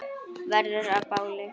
Verður að báli.